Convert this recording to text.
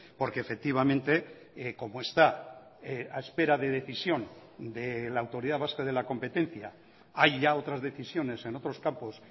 porque efectivamente como está a espera de decisión de la autoridad vasca de la competencia hay ya otras decisiones en otros campos